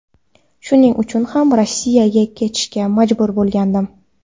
Shuning uchun ham Rossiyaga ketishga majbur bo‘lgandim.